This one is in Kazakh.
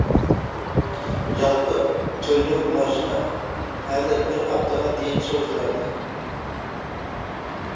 жалпы төлдеу маусымы әлі бір аптаға дейін созылады